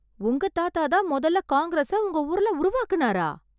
உங்க தாத்தாதான் மொதல்ல காங்கிரஸை உங்க ஊர்ல உருவாக்குனாரா..!